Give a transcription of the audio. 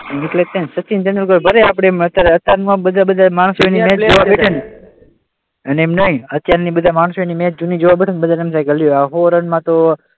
એટલે જ ને સચિન તેંડુલકર ભલે આપણે અત્યારે એમ નહીં અત્યારના બધા માણસો એની મેચ જૂની જોવા બેઠેને તો બધાને એમ થાય કે લ્યો આ સો રનમાં તો,